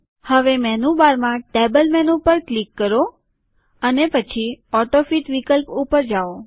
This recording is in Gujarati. હવે મેનુબારમાં ટેબલ મેનુ પર ક્લિક કરો અને પછી ઓટોફીટ વિકલ્પ ઉપર જાઓ